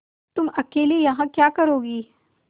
तुम अकेली यहाँ क्या करोगी